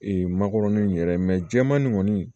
makɔrɔni in yɛrɛ jɛman nin kɔni